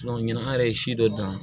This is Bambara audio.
ɲina an yɛrɛ ye si dɔ dan